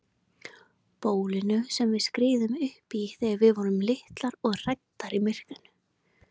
Bólinu sem við skriðum uppí þegar við vorum litlar og hræddar í myrkrinu.